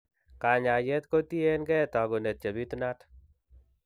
kanyaayet kotien keey taakunet chebitunat.